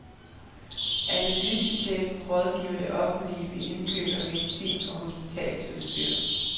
Analysechefen rådgiver det offentlige ved indkøb af medicin og hospitalsudstyr.